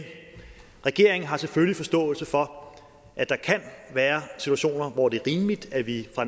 regeringen har selvfølgelig forståelse for at der kan være situationer hvor det er rimeligt at vi fra